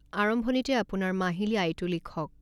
আৰম্ভণিতে আপোনাৰ মাহিলী আয়টো লিখক।